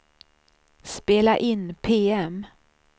spela in PM